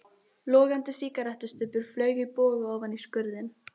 Logandi sígarettustubbur flaug í boga ofan í skurðinn.